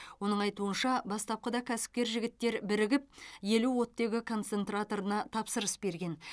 оның айтуынша бастапқыда кәсіпкер жігіттер бірігіп елу оттегі концентраторына тапсырыс берген